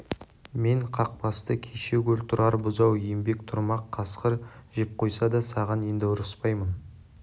мен қақ басты кеше гөр тұрар бұзау ембек тұрмақ қасқыр жеп қойса да саған енді ұрыспаймын